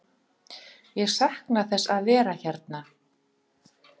Ég sakna þess að vera hérna.